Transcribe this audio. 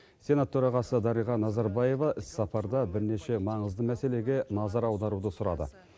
сенат төрағасы дариға назарбаева іс сапарда бірнеше маңызды мәселеге назар аударуды сұрады